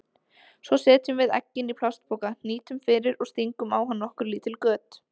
Svo setjum við eggin í plastpoka, hnýtum fyrir og stingum á hann nokkur lítil göt.